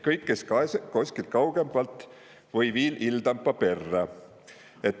Kõik, kes kaese koskil kaugõmpalt vai perrä!